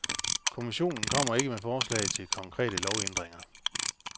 Kommissionen kommer ikke med forslag til konkrete lovændringer.